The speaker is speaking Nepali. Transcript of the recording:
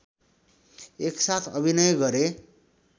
एक साथ अभिनय गरे